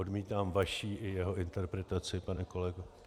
Odmítám vaši i jeho interpretaci, pane kolego.